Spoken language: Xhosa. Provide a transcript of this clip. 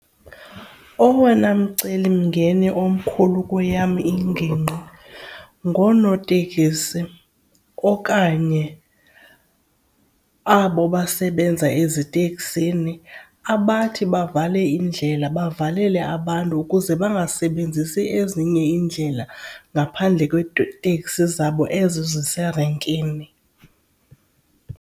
Owona mcelimngeni omkhulu kweyam ingingqi ngonootekisi okanye abo basebenza eziteksini abathi bavale indlela bevalela abantu ukuze bangasebenzisi ezinye iindlela ngaphandle kweetekisi zabo ezi ziserenkini.